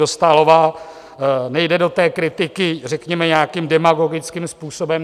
Dostálová nejde do té kritiky řekněme nějakým demagogickým způsobem.